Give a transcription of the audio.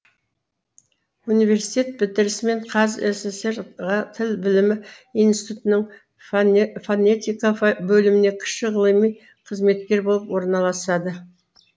университет бітірісімен қазсср ға тіл білімі институтының фонетика бөліміне кіші ғылыми қызметкер болып орналасады